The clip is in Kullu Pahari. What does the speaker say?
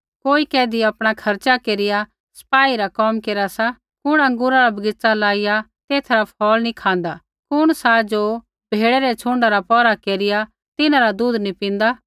कोई कैधी आपणा खर्च़ा केरिया सपाई रा कोम केरा सा कुण अँगूरा रा बगीच़ा लाईया तेथा रा फ़ौल नी खाँदा कुण सा ज़ो भेड़ै रै छ़ुण्डा रा पौहरा केरिया तिन्हां रा दूध नी पिन्दा